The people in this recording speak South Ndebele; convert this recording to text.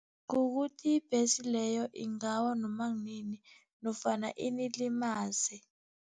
Kukuthi ibhesi leyo ingawa noma kunini nofana inilimaze.